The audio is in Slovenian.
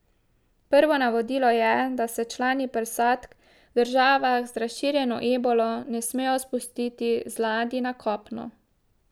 Prvo navodilo je, da se člani posadk v državah z razširjeno ebolo ne smejo spustiti z ladij na kopno.